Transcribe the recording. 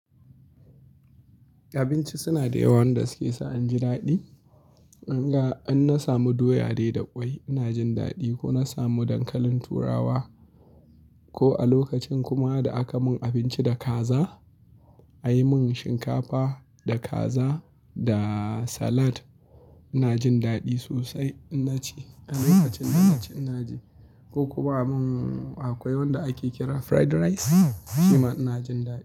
Abinci suna da yawan da suke sa in ji daɗi. In ga an na samu doya dai da kwai, ina jin daɗi. Ko na samu dankalin turawa ko a lokacin kuma da aka mun abinci da kaza, a yi mun shinkafa da kaza da salad, ina jin daɗi sosai ina ci a lokacin da na ci ina ji. Ko kuma mun akwai wanda ake kira fried rice, shi ma ina jin daɗi.